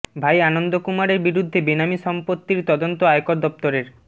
ভাই আনন্দ কুমারের বিরুদ্ধে বেনামি সম্পত্তির তদন্ত আয়কর দফতরের